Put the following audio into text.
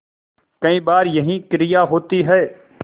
कई बार यही क्रिया होती है